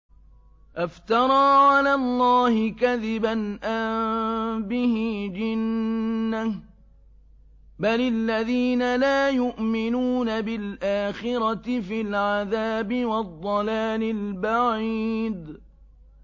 أَفْتَرَىٰ عَلَى اللَّهِ كَذِبًا أَم بِهِ جِنَّةٌ ۗ بَلِ الَّذِينَ لَا يُؤْمِنُونَ بِالْآخِرَةِ فِي الْعَذَابِ وَالضَّلَالِ الْبَعِيدِ